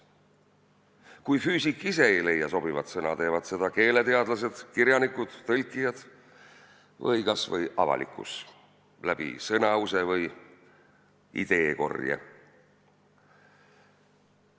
Kui füüsik ise sobivat sõna ei leia, teevad seda keeleteadlased, kirjanikud, tõlkijad või isegi avalikkus läbi sõnause või ideekorje.